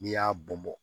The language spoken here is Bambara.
N'i y'a bɔn bɔn